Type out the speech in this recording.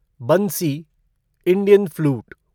Bansi Indian flute